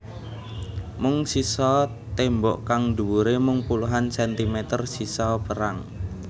Mung sisa tembok kang dhuwure mung puluhan sentimeter sisa perang